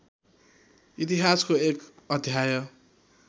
इतिहासको एक अध्याय